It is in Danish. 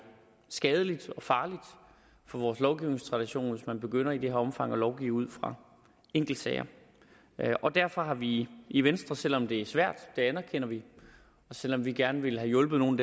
skadeligt og farligt for vores lovgivningstradition hvis man begynder i det her omfang at lovgive ud fra enkeltsager derfor har vi i venstre selv om det er svært og det anerkender vi og selv om vi gerne ville have hjulpet nogle